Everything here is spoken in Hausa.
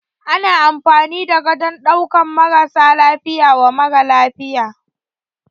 Ana amfani da gadon ɗaukan marasa lafiya wa mara lafiya.